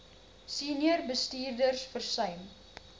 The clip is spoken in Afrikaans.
senior bestuurders versuim